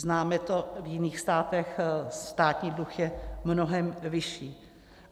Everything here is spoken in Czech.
Známe to v jiných státech, státní dluh je mnohem vyšší.